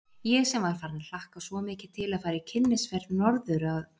Ég sem var farin að hlakka svo mikið til að fara í kynnisferð norður að